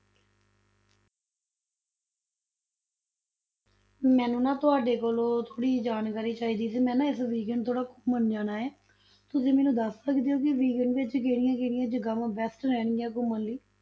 ਮੈਨੂੰ ਨਾ ਤੁਹਾਡੇ ਕੋਲੋਂ ਥੋੜ੍ਹੀ ਜਿਹੀ ਜਾਣਕਾਰੀ ਚਾਹੀਦੀ ਸੀ, ਮੈਂ ਨਾ ਇਸ weekend ਥੋੜ੍ਹਾ ਘੁੰਮਣ ਜਾਣਾ ਹੈ, ਤੁਸੀਂ ਮੈਨੂੰ ਦੱਸ ਸਕਦੇ ਹੋ ਵੀ weekend ਵਿੱਚ ਅਸੀਂ ਕਿਹੜੀਆਂ ਕਿਹੜੀਆਂ ਜਗ੍ਹਾਵਾਂ best ਰਹਿਣਗੀਆਂ ਘੁੰਮਣ ਲਈ?